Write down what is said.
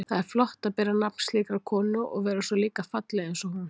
Það er flott að bera nafn slíkrar konu og vera svo líka falleg einsog hún.